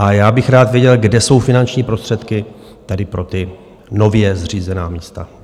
a já bych rád věděl, kde jsou finanční prostředky tady pro ta nově zřízená místa.